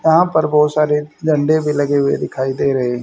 यहां पर बहुत सारे झंडे भी लगे हुए दिखाई दे रहे--